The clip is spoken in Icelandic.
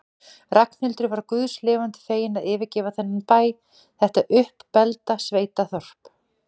Ragnhildur var guðs lifandi fegin að yfirgefa þennan bæ, þetta uppbelgda sveitaþorp.